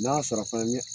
N'a sɔrɔ fana